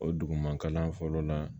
O duguma kalan fɔlɔ la